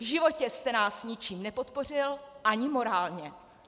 V životě jste nás ničím nepodpořil, ani morálně!